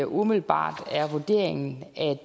umiddelbart er vurderingen at